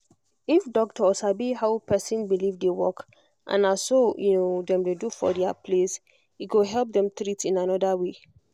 if doctor sabi how person belief dey work and na so um dem dey do for dia place e go help dem treat in another way